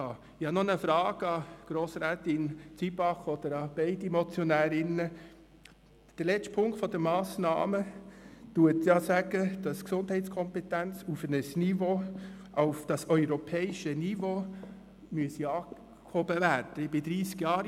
Ich habe nun noch eine Frage an Grossrätin Zybach beziehungsweise an beide Motionärinnen: Der letzte Punkt des Vorstosses verlangt, dass die Gesundheitskompetenz auf das europäische Niveau angehoben werden soll.